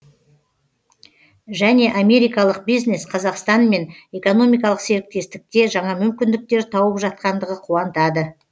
және америкалық бизнес қазақстанмен экономикалық серіктестікте жаңа мүмкіндіктер тауып жатқандығы қуантады